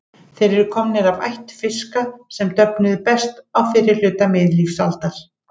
Þeir eru komnir af ætt fiska sem döfnuðu best á fyrri hluta miðlífsaldar.